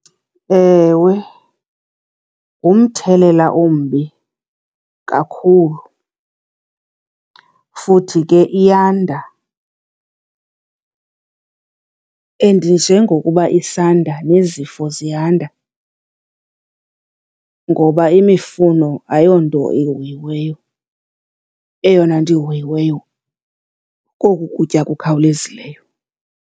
Ewe, ngumthelela ombi kakhulu, futhi ke iyanda and njengokuba isanda nezifo ziyanda ngoba imifuno ayonto ihoyiweyo, eyona nto ihoyiweyo koku kutya kukhawulezileyo.